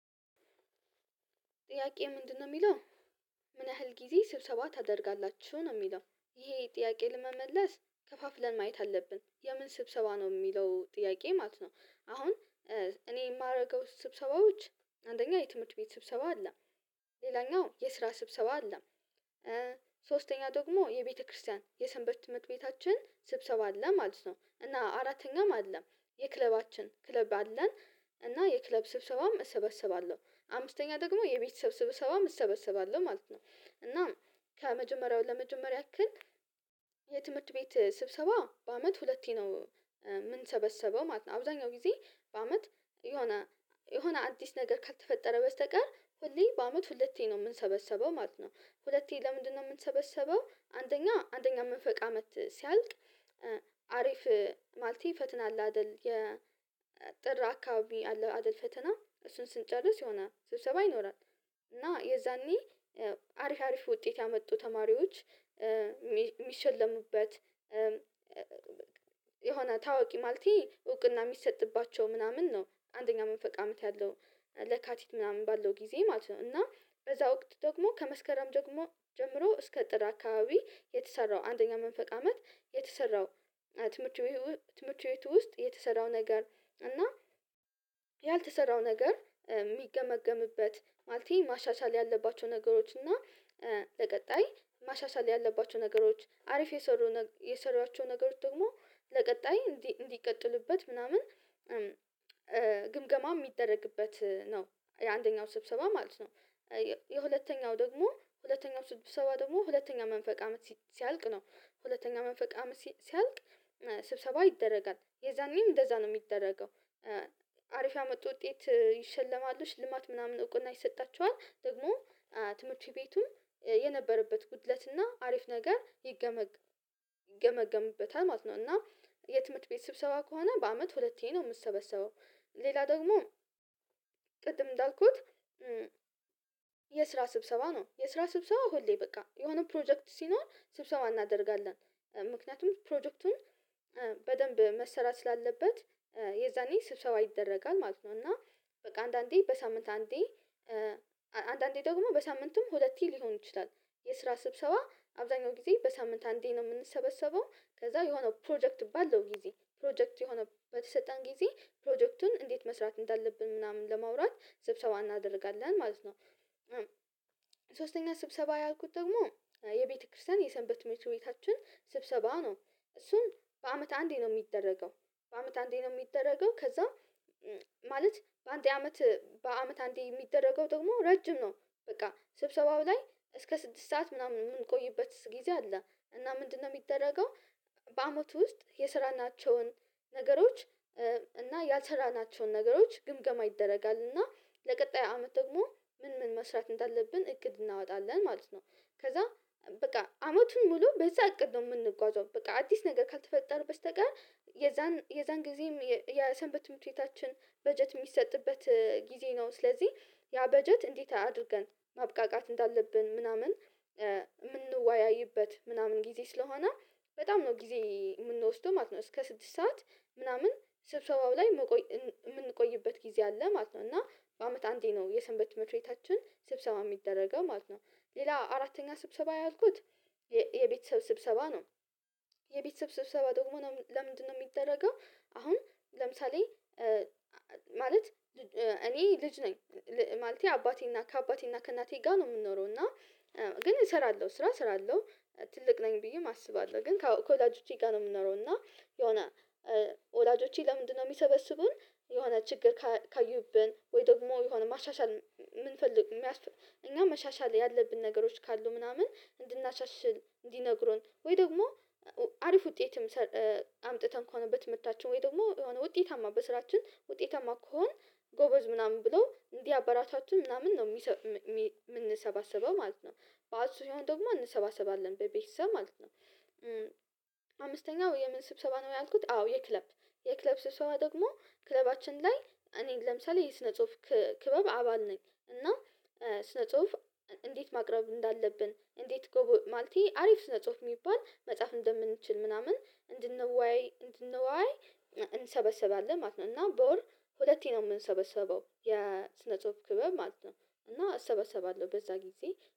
ጥያቄ ምንድነው የሚለው፣ ምን ያህል ጊዜ ስብሰባ ታደርጋላችሁ? ነው የሚለው። ይሄ ጥያቄ ለመመለስ ከፋፍለን ማየት አለብን። የምን ስብሰባ ነው? የሚለው ጥያቄ ማለት ነው። አሁን እኔ የማደርገው ስብሰባዎች አንደኛ የትምህርት ቤት ስብሰባ አለ፣ ሌላኛው የስራ ስብሰባ አለ። ሶስተኛ ደግሞ የቤተክርስቲያን የሰንበት ትምህርት ቤታችን ስብሰባ አለ ማለት ነው። እና አራተኛም አለ። የክለባችን ክለብ አለን እና የክለብ ስብሰባም እሰበስባለሁ። አምስተኛ ደግሞ የቤት ሰብስበሰባም እሰበስባለሁ ማለት ነው። እና ከመጀመሪያው ለመጀመር ያክል ቤት ስብሰባ በአመት ሁለቴ ነው የምንሰበሰበው ማለት ነው። አብዛኛው ጊዜ በአመት የሆነ የሆነ አዲስ ነገር ካልተፈጠረ በስተቀር ሁሌ በአመት ሁለቴ ነው የምንሰበሰበው ማለት ነው። ሁለቴ ለምንድነው የምንሰበሰበው አንደኛ አንደኛ መንፈቅ አመት ሲያልቅ አሪፍ ማለቴ ፈተና አለ አይደል የጥር አካባቢ አለ አይደል ፈተና እሱን ስንጨርስ የሆነ ስብሰባ ይኖራል። እና የዛኔ አሪፍ አሪፍ ውጤት ያመጡ ተማሪዎች የሚሸለሙበት የሆነ ታዋቂ ማለቴ እውቅና የሚሰጥባቸው ምናምን ነው። አንደኛ መንፈቅ አመት ያለው ለካቲት ምናምን ባለው ጊዜ ማለት ነው። እና በዛ ወቅት ደግሞ ከመስከረም ደግሞ ጀምሮ እስከ ጥር አካባቢ የተሰራው አንደኛ መንፈቅ አመት የተሰራው ትምህርት ቤት ው-- ትምህርት ቤት ውስጥ የተሰራው ነገር እና ያልተሰራው ነገር የሚገመግምበት ማለቴ ማሻሻል ያለባቸው ነገሮች እና ለቀጣይ ማሻሻል ያለባቸው ነገሮች አሪፍ የሰሩ የሰሩዋቸው ነገሮች ደግሞ ለቀጣይ እንዲቀጥሉበት ምናምን ግምገማ የሚደረግበት ነው የአንደኛው ስብሰባ ማለት ነው። የሁለተኛው ደግሞ ሁለተኛው ስብሰባ ደግሞ ሁለተኛ መንፈቅ አመት ሲያልቅ ነው። ሁለተኛ መንፈቅ አመት ሲያልቅ ስብሰባ ይደረጋል። የዛኔም እንደዛ ነው የሚደረገው። አሪፍ ያመጡ ውጤት ይሸለማሉ ሽልማት ምናምን እውቅና ይሰጣቸዋል። ደግሞ ትምህርት ቤቱም የነበረበት ጉድለትና አሪፍ ነገር ይገመገ ይገመግምበታል ማለት ነው። እና የትምህርት ቤት ስብሰባ ከሆነ በአመት ሁለቴ ነው የምትሰበሰበው። ሌላ ደግሞ ቅድም እንዳልኩት የስራ ስብሰባ ነው። የስራ ስብሰባ ሁሌ በቃ የሆነ ፕሮጀክት ሲኖር ስብሰባ እናደርጋለን። ምክንያቱም ፕሮጀክቱን በደንብ መሰራት ስላለበት የዛኔ ስብሰባ ይደረጋል ማለት ነው። እና በቃ አንዳንዴ በሳምንት አንዴ እ አንዳንድ አንዳንዴ ደግሞ በሳምንቱም ሁለቴ ሊሆን ይችላል። የስራ ስብሰባ አብዛኛው ጊዜ በሳምንት አንዴ ነው የምንሰበሰበው ከዛ የሆነው ፕሮጀክት ባለው ጊዜ ፕሮጀክት የሆነበት በሰጠን ጊዜ ፕሮጀክቱን እንዴት መስራት እንዳለብን ምናምን ለማውራት ስብሰባ እናደርጋለን ማለት ነው። ሶስተኛ ስብሰባ ያልኩት ደግሞ የቤተክርስቲያን የሰንበት ትምህርትቤቻችን ስብሰባ ነው። እሱም በአመት አንዴ ነው የሚደረገው። በአመት አንዴ ነው የሚደረገው ከዛ ማለት በአንዴ አመት በአመት አንዴ የሚደረገው ደግሞ ረጅም ነው። በቃ ስብሰባው ላይ እስከ ስድስት ሰዓት ምናምን የምንቆይበት ጊዜ አለ። እና ምንድነው የሚደረገው በአመቱ ውስጥ የሰራናቸውን ነገሮች እና ያልሰራናቸውን ነገሮች ግምገማ ይደረጋል። እና ለቀጣይ አመት ደግሞ ምን ምን መስራት እንዳለብን እቅድ እናወጣለን ማለት ነው። ከዛ በቃ አመቱን ሙሉ በዛ እቅድ ነው የምንጓዘው። በቃ አዲስ ነገር ካልተፈጠረ በስተቀር የዛን የዛን ጊዜም የሰንበት ትምህርትቤታችን በጀት የሚሰጥበት ጊዜ ነው። ስለዚህ ያ በጀት እንዴት አድርገን ማብቃቃት እንዳለብን ምናምን የምንወያይበት ምናምን ጊዜ ስለሆነ በጣም ነው ጊዜ የምንወስደው ማለት ነው። እስከ ስድስት ሰዓት ምናምን ስብሰባው ላይ የምንቆይበት ጊዜ አለ ማለት ነው። እና በአመት አንዴ ነው የሰንበት ትምህርትቢኣታችን ስብሰባ የሚደረገው ማለት ነው። ሌላ አራተኛ ስብሰባ ያልኩት የቤተሰብ ስብሰባ ነው። የቤተሰብ ስብሰባ ደግሞ ለምንድነው የሚደረገው አሁን ለምሳሌ ማለት እኔ ልጅ ነኝ። ማለቴ አባቴና ከአባቴና ከእናቴ ጋር ነው የምንኖረው እና ግን እሰራለሁ ስራ እሰራለሁ ትልቅ ነኝ ብዬም አስባለሁ። ግን ከወላጆቼ ጋር ነው የምኖረው። እና የሆነ ወላጆቼ ለምንድነው የሚሰበስቡን የሆነ ችግር ካዩብን ወይ ደግሞ የሆነ ማሻሻል የምንፈልግ የሚያስፈልግ እኛ መሻሻል ያለብን ነገሮች ካሉ ምናምን እንድናሻሽል እንዲነግሩን ወይ ደግሞ አሪፍ ውጤትም አምጥተን ከሆነ ብትምህርታችን ወይ ደግሞ የሆነ ውጤታማ በስራችን ውጤታማ ከሆንን ጎበዝ ምናምን ብሎ እንዲያበረታቱን ምናምን ነው የምንሰባሰበው ማለት ነው። በዓል ሲሆን ደግሞ አንሰባሰባለን። በቤተሰብ ማለት ነው አምስተኛው የምን ስብሰባ ነው ያልኩት? አዎ የክለብ። የክለብ ስብሰባ ደግሞ ክለባችን ላይ እኔ ለምሳሌ የስነ ጽሁፍ ክበብ አባል ነኝ። እና ስነ ጽሁፍ እንዴት ማቅረብ እንዳለብን እንዴት ጎበ ማለቴ አሪፍ ስነጽሁፍ የሚባል መጽሐፍ እንደምንችል ምናምን እንድንወያይ እንድንወያይ እንሰበሰባለን ማለት ነው። እና በወር ሁለቴ ነው የምንሰበሰበው። የስነ ጽሁፍ ክብር ማለት ነው። እና አሰበሰባለሁ በዛ ጊዜ።